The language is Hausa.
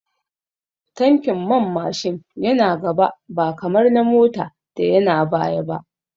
Tankin man Mashin yana gaba ba kamar na Mota da yana baya ba